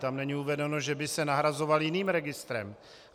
Tam není uvedeno, že by se nahrazoval jiným registrem.